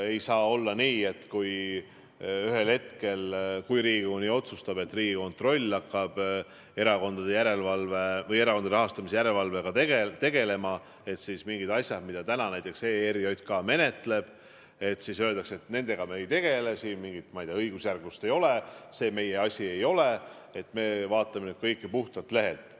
Ei saa olla nii, et ühel hetkel, kui Riigikogu nii otsustab, et Riigikontroll hakkab erakondade rahastamise järelevalvega tegelema, siis mingite asjade kohta, mida näiteks ERJK on menetlenud, öeldakse, et nendega me ei tegele, siin mingit õigusjärglust ei ole, see meie asi ei ole, et me vaatame nüüd kõike puhtalt lehelt.